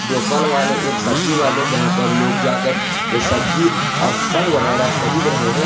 दो फल वाले एक सब्जी वाले जहां पर लोग जाकर के सब्जी और फल वगैरा खरीद रहे हैं।